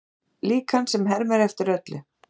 Líkan sem hermir eftir öllu